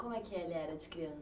Como é que ele era de